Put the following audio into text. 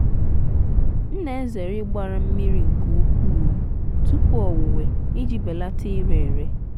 m na-ezere ịgbara mmiri nke ukwuu tupu owuwe iji belata ire ere.